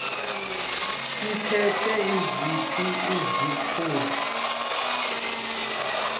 aphethe ziphi izikhundla